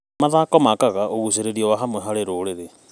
Mathako makaga ũgucĩrĩrio wa hamwe harĩ rũrĩrĩ.